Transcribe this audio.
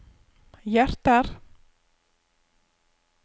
hjerter